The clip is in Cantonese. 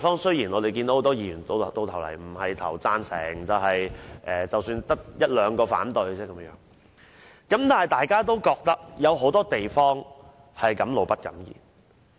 雖然很多議員最終會表決贊成，可能只得一兩位議員反對，但大家對很多問題其實是敢怒不敢言。